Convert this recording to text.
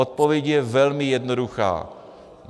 Odpověď je velmi jednoduchá.